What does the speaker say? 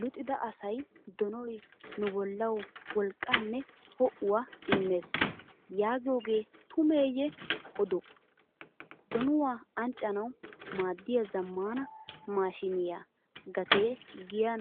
Luxida asay "donoy nu bollawu wolqqaanne ho'uwaa immees" yaagiyogee tumeeyye odoo? Donuwaa anccanawu maaddiya zammaana maashiniyaa gatee giyan